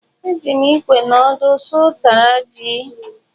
Eji m ikwe na ọdụ suo ụtara ji.